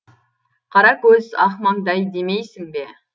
қара көз ақ маңдай демейсің бе